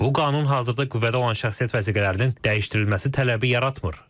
Bu qanun hazırda qüvvədə olan şəxsiyyət vəsiqələrinin dəyişdirilməsi tələbi yaratmır.